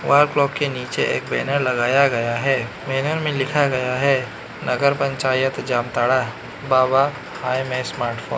wall clock के नीचे एक बैनर लगाया गया है बैनर मे लिखा गया है नगर पंचायत जामताड़ा बाबा हाय मे स्मार्टफोन --